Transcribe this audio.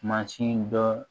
Mansin dɔ